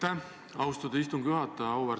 Aitäh, austatud istungi juhataja!